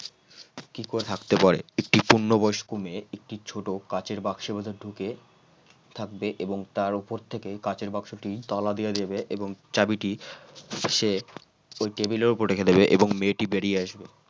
কি করে থাকতে পারে একটি পূর্ণ বয়স্ক মেয়ে একটি ছোট কাঁচের বাক্সের ভিতর ঢুকে থাকবে এবং তার উপর থেকে কাঁচের বাক্সটি তালা দিয়ে দেবে এবার চাবিটি সে ওই টেবিলের উপর রেখে দেবে এবং মেয়েটি বেরিয়ে আসবে।